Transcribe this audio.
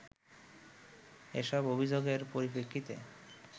এসব অভিযোগের পরিপ্রেক্ষিতে